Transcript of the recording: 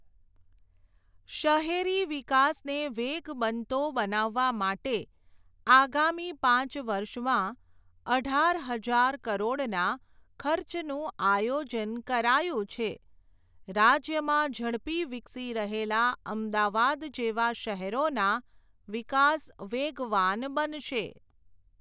શહેરી વિકાસને વેગ બનતો બનાવવા માટે, આગામી પાંચ વર્ષમાં, અઢાર હજાર કરોડના, ખર્ચનું આયોજન કરાયું છે, રાજ્યમાં ઝડપી વિકસી રહેલા અમદાવાદ જેવા શહેરોના, વિકાસ વેગવાન બનશે.